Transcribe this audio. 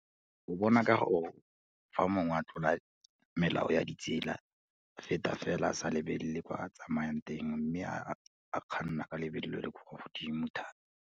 O bona ka go, fa mongwe a tlola melao ya ditsela, a feta fela a sa lebelele kwa tsamayang teng, mme a kganna ka lebelo le le kwa godimo thata.